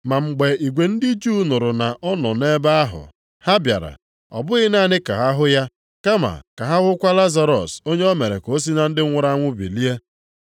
Ma mgbe igwe ndị Juu nụrụ na ọ nọ nʼebe ahụ, ha bịara, ọ bụghị naanị ka ha hụ ya, kama ka ha hụkwa Lazarọs onye o mere ka o si na ndị nwuru anwụ bilie.